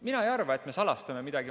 Mina ei arva, et me salastame midagi.